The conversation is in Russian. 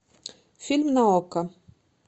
фильм на окко